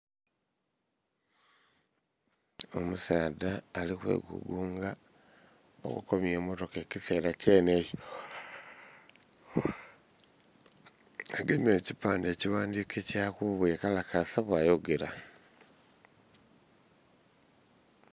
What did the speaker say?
Omusaadha ali kwegugunga, okobye emotaka ekisera kyene ekyo. agemye ekipandhe ekighandike kya ku bweyekalakaasa bawa yogera.